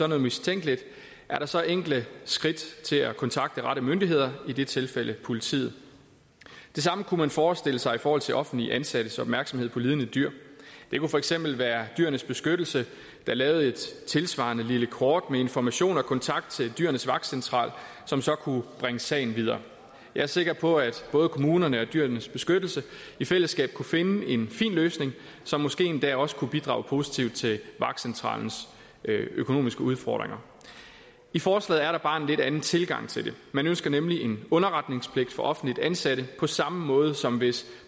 noget mistænkeligt er der så enkle skridt til at kontakte rette myndigheder i dette tilfælde politiet det samme kunne man forestille sig i forhold til offentligt ansattes opmærksomhed på lidende dyr det kunne for eksempel være dyrenes beskyttelse der lavede et tilsvarende lille kort med information om kontakt til dyrenes vagtcentral som så kunne bringe sagen videre jeg er sikker på at både kommunerne og dyrenes beskyttelse i fællesskab kunne finde en fin løsning som måske endda også kunne bidrage positivt til vagtcentralens økonomiske udfordringer i forslaget er der bare en lidt anden tilgang til det man ønsker nemlig en underretningspligt for offentligt ansatte på samme måde som hvis